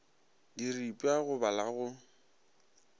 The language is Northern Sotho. diripwa go ba la go